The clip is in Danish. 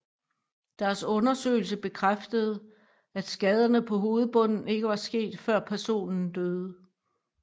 Deres undersøgelse bekræftede at skaderne på hovedbunden ikke var sket før personen døde